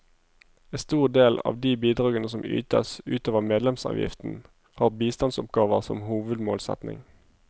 En stor del av de bidragene som ytes ut over medlemsavgiften, har bistandsoppgaver som hovedmålsetning.